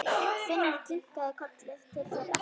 Finnur kinkaði kolli til þeirra.